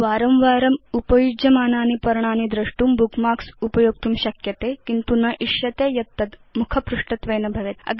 वारं वारम् उपयुज्यमानानि पर्णानि द्रष्टुं भवान् बुकमार्क्स् उपयोक्तुं शक्नोति किन्तु न इच्छति यत् तद् मुखपृष्ठत्वेन भवेत्